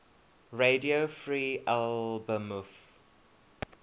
radio free albemuth